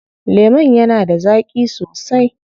Lemon yana da zaƙi sosai.